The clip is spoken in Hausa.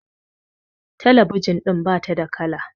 talabijin din ba ta da kala